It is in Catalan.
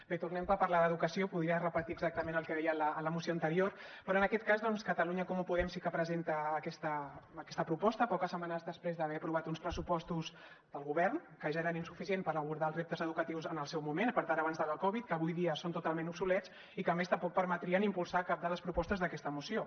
bé tornem per parlar d’educació podria repetir exactament el que deia en la moció anterior però en aquest cas doncs catalunya en comú podem sí que presenta aquesta proposta poques setmanes després d’haver aprovat uns pressupostos del govern que ja eren insuficients per abordar els reptes educatius en el seu moment i per tant abans de la covid que avui ja són totalment obsolets i que a més tampoc permetrien impulsar cap de les propostes d’aquesta moció